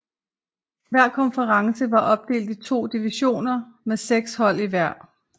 Hver konference var opdelt i to divisioner med seks hold i hver